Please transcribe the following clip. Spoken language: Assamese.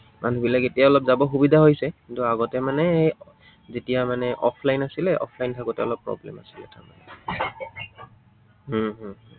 মানুহবিলাক এতিয়া অলপ যাব সুবিধা হৈছে। কিন্তু আগতে মানে এৰ যেতিয়া মানে offline আছিলে, offline থাকোতে অলপ problem হৈছিলে তাত। উম হম